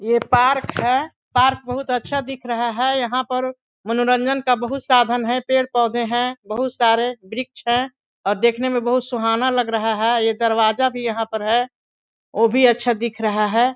ये पार्क है पार्क बहुत अच्छा दिख रहा है यहाँ पर मनोरंजन का बहुत साधन है पेड़-पौधे है बहुत सारे वृक्ष है और देखने में बहुत सुहाना लग रहा है ये दरवाजा भी यहाँ पर है वो भी अच्छा दिख रहा हैं।